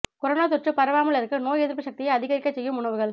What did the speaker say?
corona தொற்று பரவாமல் இருக்க நோய் எதிர்ப்பு சக்தி அதிகரிக்கச் செய்யும் உணவுகள்